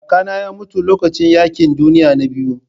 Kakana ya mutu lokacin yaƙin duniya na biyu.